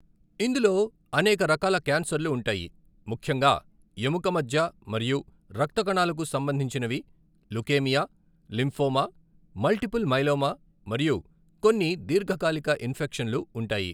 ఇందులో అనేక రకాల క్యాన్సర్లు ఉంటాయి, ముఖ్యంగా ఎముక మజ్జ మరియు రక్త కణాలకు సంబంధించినవి, లుకేమియా, లింఫోమా, మల్టిపుల్ మైలోమా ఇంకా కొన్ని దీర్ఘకాలిక ఇన్ఫెక్షన్లు ఉంటాయి.